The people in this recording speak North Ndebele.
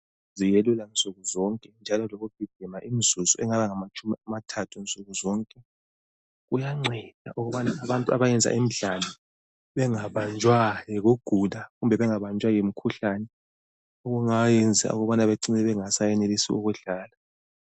Ziyelula nzukuzonke njalo lokugijima imzuzu engaba ngamatshumi amathathu nsukuzonke. Kuyanceda ukubana abantu abayenza imidlalo bengabanjwa yikugula kumbe bengabanjwa yimikhuhlane okungayenza ukubana becine bengasayenelisi ukudlala.